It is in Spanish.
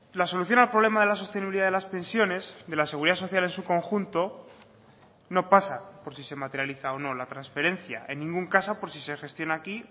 la solución al problema de la sostenibilidad de las pensiones de la seguridad social en su conjunto no pasa por si se materializa o no la transferencia en ningún caso por sí se gestiona aquí